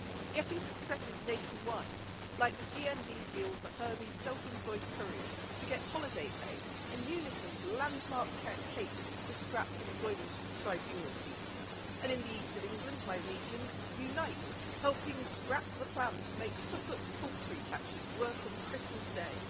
Getting successes nationwide, like the GMB deal for Hermes self employed couriers to get holiday pay and Unison's landmark case to scrap employment tribunal fees and in the east of England, my region UNITE helping scrap the plans to make Suffolk poultry catchers work on Christmas Day